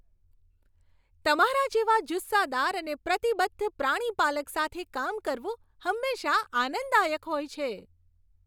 તમારા જેવા જુસ્સાદાર અને પ્રતિબદ્ધ પ્રાણીપાલક સાથે કામ કરવું હંમેશા આનંદદાયક હોય છે.